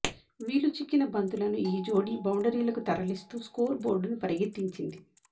వీలుచిక్కిన బంతలను ఈ జోడీ బౌండరీలకు తరలిస్తూ స్కోర్ బోర్డును పరుగెత్తించింది